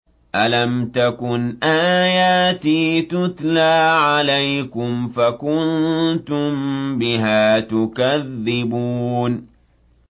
أَلَمْ تَكُنْ آيَاتِي تُتْلَىٰ عَلَيْكُمْ فَكُنتُم بِهَا تُكَذِّبُونَ